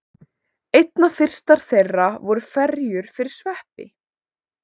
Einna fyrstar þeirra voru ferjur fyrir sveppi.